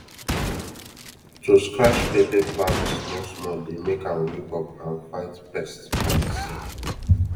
to scratch pepper plant small small dey make am wake up and fight pest by itself